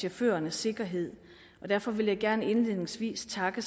chaufførernes sikkerhed og derfor vil jeg gerne indledningsvis takke